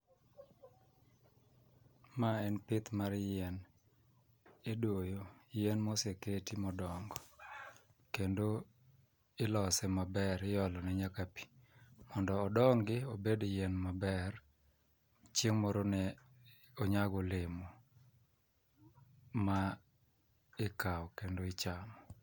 Ma en pith mar yien, idoyo yien moseketi modongo kendo ilose maber iolone nyaka pi mondo odongi obed yien maber chieng' moro ne onyag olemo ma ikawo kendo ichamo.